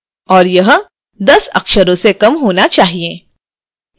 और यह 10 अक्षरों से कम होना चाहिए